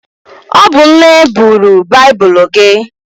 Ọ bụ nne buru baibulu gị.